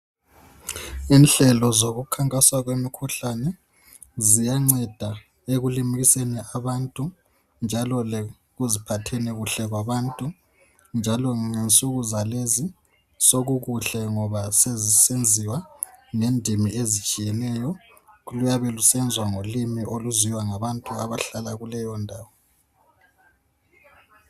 Inhlelo zokukhankasa komkhuhlane ziyanceda ekulimukiseni kwabantu njalo lokuziphatheni kuhle kwabantu njalo ngensuku zalezi sokukuhle ngoba sokusenziwa ngendimi ezitshiyeneyo oluyabe lusenzwa ngolimi oluziwa ngabantu abayabe behlala kuleyo ndawo.